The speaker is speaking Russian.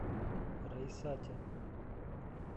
раисате